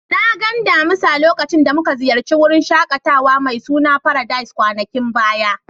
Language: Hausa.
Na gan damisu lokacin da mun ziyace wurin shakatawa mai suna Paradise kwanakin baya.